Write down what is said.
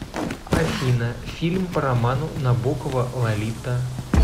афина фильм по роману набокова лолита